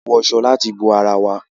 A n wọ aṣọ láti bo àrà wà